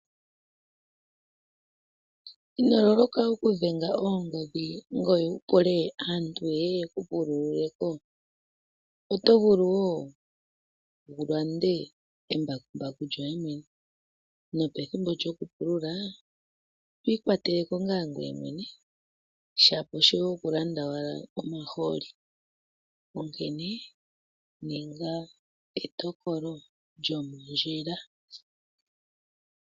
Ino loloka oku dhenga oongodhi, ngoye wu pule aantu yeye yeku pululileko? Oto vulu wo wulande embakumbaku lyoye mwene, nopethimbo lyoku pulula twi ikwateleko ngaa gweye mwene. Shapo shoye oku landa owalo omaholi. Onkene ninga etokolo lyomondjila.